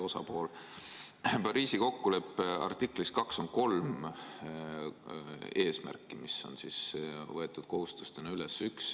Pariisi kokkuleppe artiklis 2 on kolm eesmärki, mis on kohustusena üle võetud.